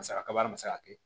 Masakɛ kaba ma se ka kɛ